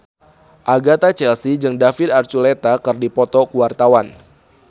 Agatha Chelsea jeung David Archuletta keur dipoto ku wartawan